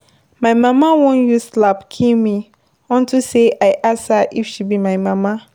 My mama wan use slap kill me unto say I ask her if she be my mama.